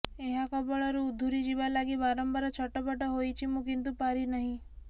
ଏହା କବଳରୁ ଉଧୁରିଯିବା ଲାଗି ବାରମ୍ୱାର ଛଟପଟ ହୋଇଛି ମୁଁ କିନ୍ତୁ ପାରି ନାହିଁ